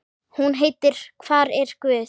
Hún heitir Hvar er guð?